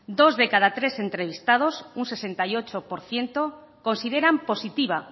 dos de cada tres entrevistados un sesenta y ocho por ciento consideran positiva